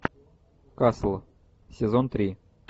касл сезон три